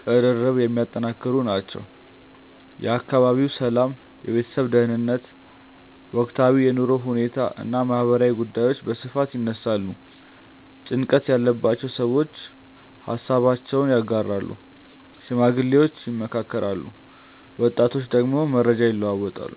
ቅርርብን የሚያጠነክሩ ናቸው። የአካባቢው ሰላም፣ የቤተሰብ ደህንነት፣ ወቅታዊ የኑሮ ሁኔታ እና ማህበራዊ ጉዳዮች በስፋት ይነሳሉ። ጭንቀት ያለባቸው ሰዎች ሃሳባቸውን ያጋራሉ፣ ሽማግሌዎች ይመክራሉ፣ ወጣቶች ደግሞ መረጃ ይለዋወጣሉ።